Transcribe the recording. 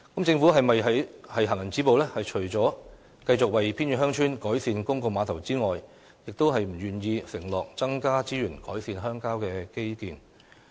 政府是否想"行人止步"，除了繼續為偏遠鄉村改善公共碼頭外，便不願意承諾增加資源改善鄉郊基建？